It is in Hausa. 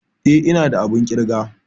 Eh ina da abun ƙirga.